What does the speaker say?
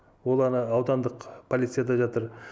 ол ана аудандық полицияда жатыр